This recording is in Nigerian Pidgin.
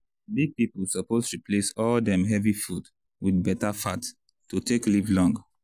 big people suppose replace all dem heavy food with beta fat to take live long.